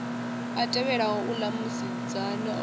a tevhelaho uḽa musidzana o